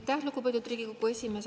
Aitäh, lugupeetud Riigikogu esimees!